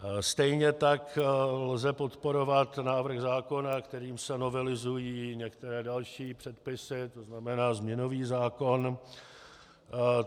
Stejně tak lze podporovat návrh zákona, kterým se novelizují některé další předpisy, to znamená změnový zákon.